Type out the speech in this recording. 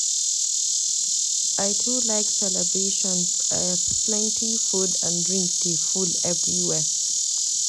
I too like celebrations as plenty food and drink dey full everywhere.